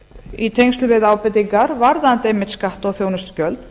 í tengslum við ábendingar varðandi einmitt skatt á þjónustugjöld